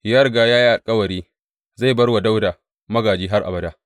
Ya riga ya yi alkawari zai bar wa Dawuda magāji har abada.